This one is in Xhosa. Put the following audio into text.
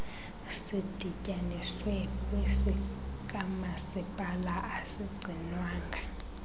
sidityaniswe kwesikamasipala asigcinwanga